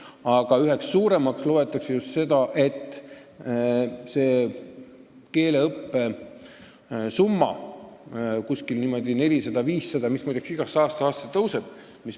Aga üheks suuremaks põhjuseks loetakse just seda keeleõppe summat, mis on 400–500 eurot ja mis, muide, aastast aastasse tõuseb.